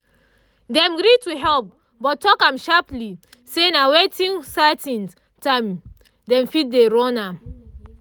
dem gree to help but talk am sharperly say na within certain time dem fit dey run am